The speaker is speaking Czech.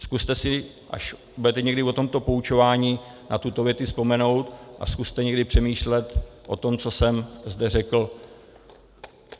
Zkuste si, až budete někdy o tomto poučováni, na tuto větu vzpomenout a zkuste někdy přemýšlet o tom, co jsem zde řekl.